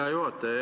Hea juhataja!